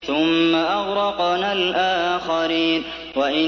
ثُمَّ أَغْرَقْنَا الْآخَرِينَ